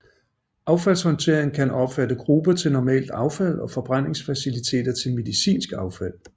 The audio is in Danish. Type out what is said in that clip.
Affaldshåndtering kan omfatte gruber til normalt affald og forbrændingsfaciliteter til medicinsk affald